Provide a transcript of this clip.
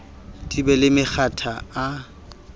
di be le makgetha a